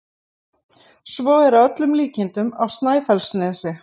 Svo er að öllum líkindum á Snæfellsnesi.